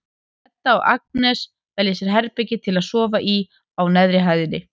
Edda og Agnes velja sér herbergi til að sofa í á neðri hæðinni.